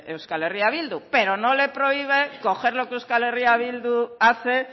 euskal herria bildu pero no le prohíbe coger lo que euskal herria bildu hace